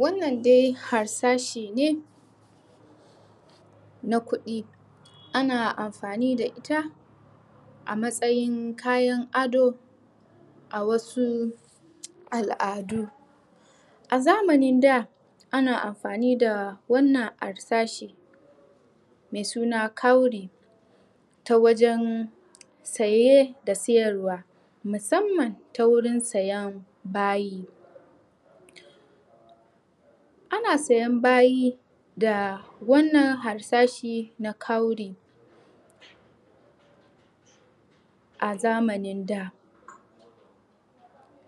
Wannan dai harsashe ne Na kuɗi. Ana amfani da ita A matsayin kayan ado A wasu al'adu A zamanin da Ana amfani da wannan harsashe Mai suna cowry Ta wajen saye da sayarwa Musamman ta wurin siyan bayi Ana siyan bayi da wannan harsashe na cowry A zamanin da.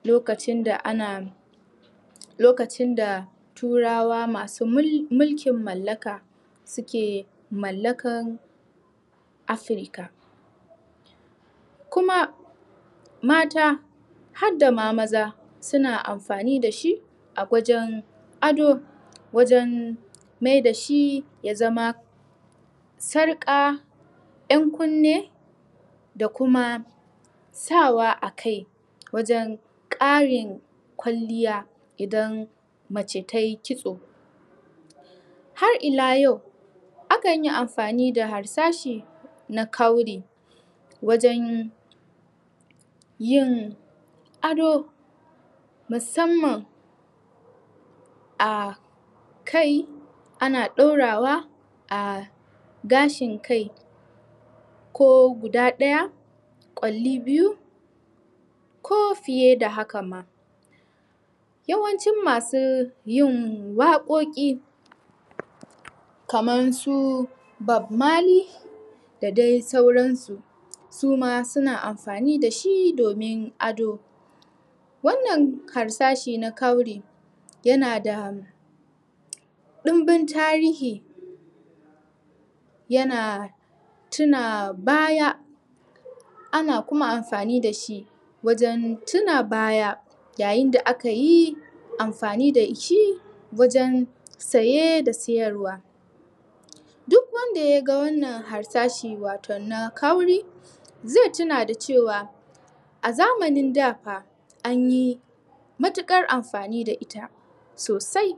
Lokacin da ana Lokacin da turawa masu mulkin mallaka Suke mallakan... Africa Kuma Mata harda ma maza suna amfani da shi A waje ado... Wajen maida shi ya zama Sarƙa... 'Yan kunne... da kuma Sa wa a kai Wajen ƙarin kwalliya idan mace ta yi kitso Har ila yau Akan yi amfani da harsashe na cowry wajen Yin ado... Musamman A kai ana ɗaurawa a gashin kai Ko guda ɗaya Ƙwalli biyu Ko fiye da haka ma Yawancin masu yin waƘoki Kaman su bob marley Da dai sauran su Suma suna amfani da shi domin ado Wannan harsashe na cowry...yanada Ɗunbin tarihi Yana tuna baya Ana kuma amfani da shi Wajen tuna baya Yayin da aka yi amfani da shi wajen saye da sayarwa Duk wanda ya ga wannan harsashe waton na cowry Zai tuna da cewa A zamanin da fa anyi Mutuƙar amfani da ita sosai.